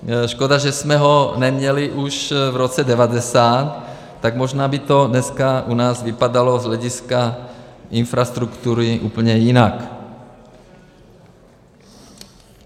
Škoda, že jsme ho neměli už v roce 1990, tak možná by to dneska u nás vypadalo z hlediska infrastruktury úplně jinak.